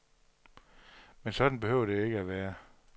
Men sådan behøver det ikke at være.